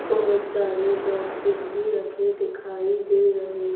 बहोत सारे बॉक्सेस भी रख दिखाई दे रहे--